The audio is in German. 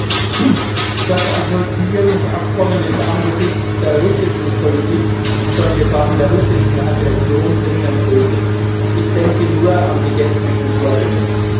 Herr Präsident! Das Assoziierungsabkommen ist angesichts der russischen Politik ich sollte sagen der russischen Aggression dringend nötig. Ich denke nur an die gestrigen Vorgänge.